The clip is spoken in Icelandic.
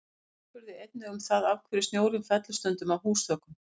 Harpa spurði einnig um það af hverju snjórinn fellur stundum af húsþökum?